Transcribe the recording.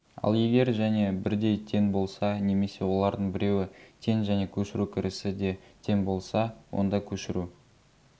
ал егер және бірдей тең болса немесе олардың біреуі тең және көшіру кірісі де тең болса онда көшіру